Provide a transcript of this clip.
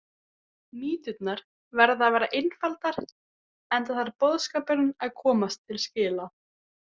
Mýturnar verða að vera einfaldar enda þarf boðskapurinn að komast til skila.